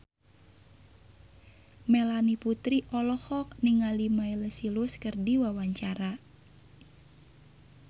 Melanie Putri olohok ningali Miley Cyrus keur diwawancara